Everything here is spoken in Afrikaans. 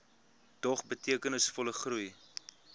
dog betekenisvolle groei